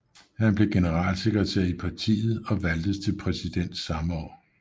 Han blev generalsekretær i partiet og valgtes til præsident samme år